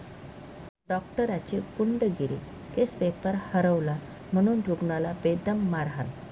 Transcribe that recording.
डॉक्टराची गुंडगिरी, case paper हरवला म्हणून रुग्णाला बेदम मारहाण